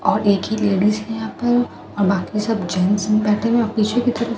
और एक ही लेडीस हैं यहाँ पर और बाकी सब जेंट्स बैठे हैं और पीछे की तरफ --